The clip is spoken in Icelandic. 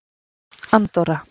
Andorra